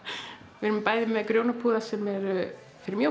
við erum bæði með grjónapúða sem eru fyrir